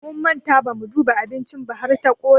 Mun manta bamu duba abincin ba har ta ƙone.